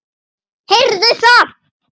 Heyrðu það!